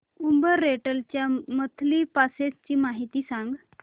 Uber rental च्या monthly passes ची माहिती सांग